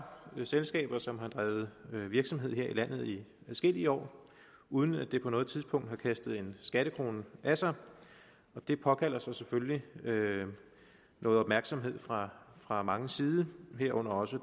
selskaber som har drevet virksomhed her i landet i adskillige år uden at det på noget tidspunkt har kastet en skattekrone af sig og det påkalder sig selvfølgelig nogen opmærksomhed fra fra manges side herunder også